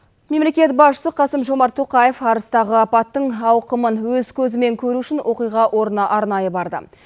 мемлекет басшысы қасым жомарт тоқаев арыстағы апаттың ауқымын өз көзімен көру үшін оқиға орнына арнайы барды